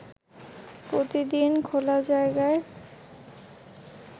প্রতিদিন খোলা জায়গায়